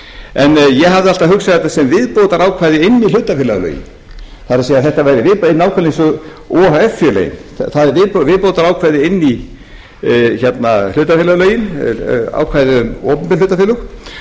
en ég hafði alltaf hugsað þetta sem viðbótarákvæði inn í hlutafélagalögin það er væri nákvæmlega eins og o h f félögin það er viðbótarákvæði inn í hlutafélagalögin opinbert ákvæðið um opinber hlutafélög og það er mjög auðvelt að kynna sér